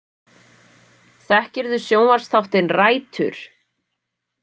Þekkirðu sjónvarpsþáttinn Rætur?